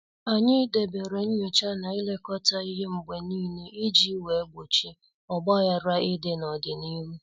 Anyị debere nyocha na ilekọta ihe mgbe niile iji wee gbochie ogbaghara ịdị n'ọdịnihu.